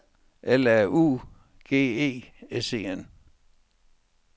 L A U G E S E N